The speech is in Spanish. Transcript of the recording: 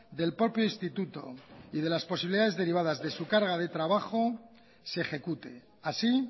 del propio instituto y de las posibilidades de su carga de trabajo se ejecute así